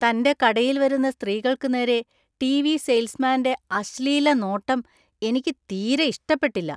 തന്‍റെ കടയിൽ വരുന്ന സ്ത്രീകള്‍ക്ക് നേരെ ടി.വി. സെയിൽസ്മാന്റെ അശ്ലീലനോട്ടം എനിക്ക് തീരേ ഇഷ്ടപ്പെട്ടില്ല.